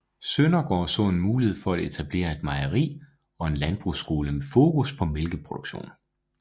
Søndergaard så en mulighed for at etablere et mejeri og en landbrugsskole med fokus på mælkeproduktion